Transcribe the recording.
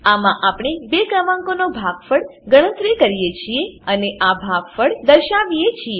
આમાં આપણે બે ક્રમાંકોનો ભાગફળ ગણતરી કરીએ છીએ અને આ ભાગફળ દર્શાવીએ છીએ